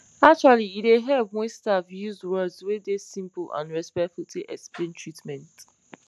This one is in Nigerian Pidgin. actually e dey help wen staff use words wey dey simple and respectful take explain treatment